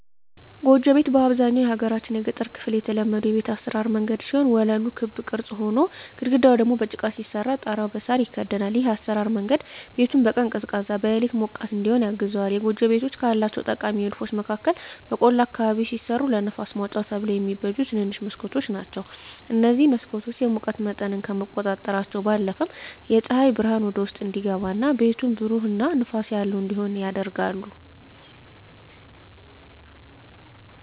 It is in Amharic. ጎጆ ቤት በአብዛኛው የሀገራችን የገጠር ክፍል የተለመዱ የቤት አሰራር መንገድ ሲሆን ወለሉ በክብ ቅርጽ ሆኖ፣ ግድግዳው ደግሞ በጭቃ ሲሰራ ጣሪያው በሳር ይከደናል። ይህ የአሰራር መንገድ ቤቱን በቀን ቀዝቃዛ፣ በሌሊት ሞቃት እዲሆን ያግዘዋል። የጎጆ ቤቶች ካላቸው ጠቃሚ ንድፎች መካከል በቆላ አካባቢ ሲሰሩ ለንፋስ ማውጫ ተብለው የሚበጁ ትንንሽ መስኮቶች ናቸዉ። እነዚህ መስኮቶች የሙቀት መጠንን ከመቆጣጠራቸው ባለፈም ፀሐይ ብርሃን ወደ ውስጥ እንዲገባ እና ቤቱን ብሩህ እና ንፋስ ያለው እንዲሆን ያደርጋሉ።